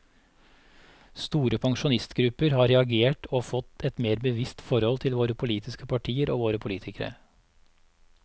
Store pensjonistgrupper har reagert og fått et mer bevisst forhold til våre politiske partier og våre politikere.